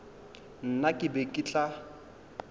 nna ke be ke tla